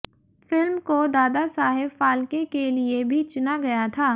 film को दादासाहेब फाल्के के लिए भी चुना गया था